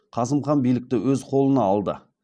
қасым хан билікті өз қолына алды